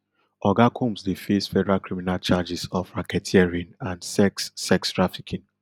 oga combs dey face federal criminal charges of racketeering and sex sex trafficking